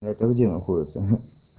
а это где находится